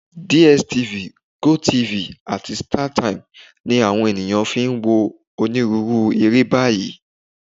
DSTV, GOTV, àti Startimes ni àwọn ènìyàn fi ń wo onírúurú eré báyìí